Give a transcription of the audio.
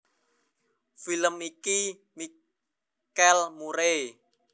Film iki dibintangi déning Hillary Duff lan Chad Michael Murray